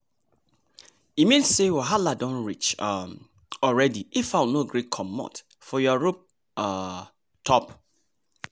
e mean say wahalah don reach um already if fowl no gree comot for your roof um top